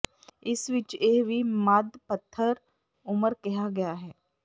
ਇਸ ਵਿਚ ਇਹ ਵੀ ਮੱਧ ਪੱਥਰ ਉੁਮਰ ਕਿਹਾ ਗਿਆ ਹੈ